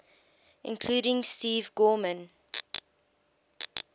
including steve gorman